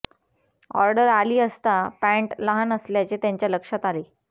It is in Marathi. ऑर्डर आली असता पॅन्ट लहान असल्याचे त्यांच्या लक्षात आले